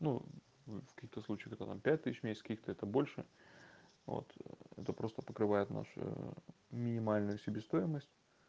ну в каких-то случаях это там пять тысяч в месяц в каких-то это больше вот это просто покрывает наше минимальную себестоимость